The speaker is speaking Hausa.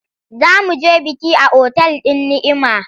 Za mu je biki a otal din Ni’ima.